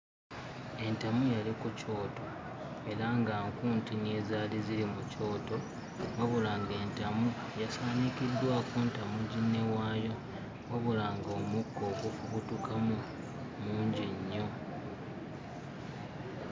Entamu yali ku kyoto era nga nku ntini ezaali ziri mu kyoto. Wabula ng'entamu yasaanikiddwako ntamu ginne waayo wabula ng'omukka ogufubutukamu mungi nnyo.